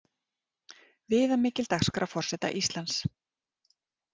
Viðamikil dagskrá forseta Íslands